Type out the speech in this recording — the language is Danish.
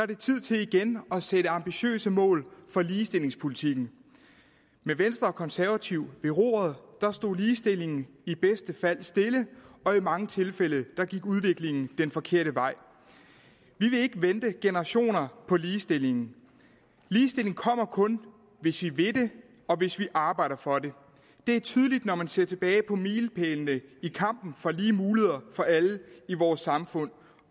det tid til igen at sætte ambitiøse mål for ligestillingspolitikken med venstre og konservative ved roret stod ligestillingen i bedste fald stille og i mange tilfælde gik udviklingen den forkerte vej vi vil ikke vente generationer på ligestilling ligestilling kommer kun hvis vi vil det og hvis vi arbejder for det det er tydeligt når man ser tilbage på milepælene i kampen for lige muligheder for alle i vores samfund